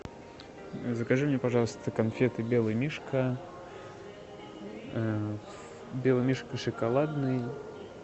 закажи мне пожалуйста конфеты белый мишка белый мишка шоколадный